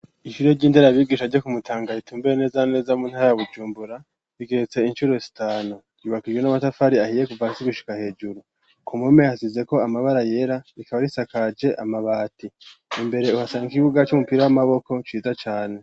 Ishure ry'indera bigisha jo kumutanga ritumbue neza neza mu ntayabujumbura rigeretse incuro sitano yubakijwe n'amatafari ahiye kuvansi gushika hejuru ku mome hasize ko amabara yera rikaba risakaje amabati imbere uhasangakigibuga c'umupira w'amaboko cita cane.